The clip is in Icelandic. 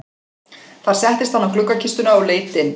Þar settist hann á gluggakistuna og leit inn.